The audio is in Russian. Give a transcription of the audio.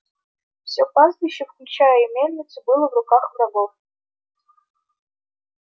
все пастбище включая и мельницу было в руках врагов